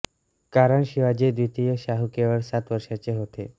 कारण शिवाजी द्वितीय शाहू केवळ सात वर्षाचे होते